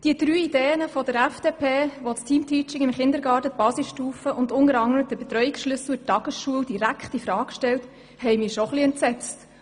Die drei Ideen der FDP, welche das Te amteaching im Kindergarten, die Basisstufe und unter anderem den Betreuungsschlüssel in der Tagesschule direkt in Frage stellen, haben mich erstaunt und auch etwas entsetzt.